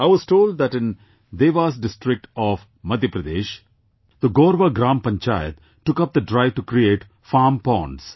I was told that in Devas district of Madhya Pradesh, the Gorva Gram Panchayat took up the drive to create farm ponds